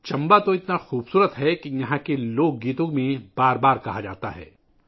چمبا تو اتنا خوبصورت ہے کہ یہاں لوک گیتوں میں بار بار کہا جاتا ہے